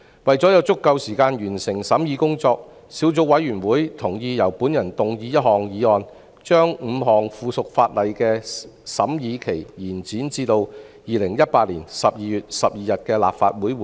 為了有足夠時間完成審議工作，小組委員會同意由我動議一項議案，將5項附屬法例的審議期限延展至2018年12月12日的立法會會議。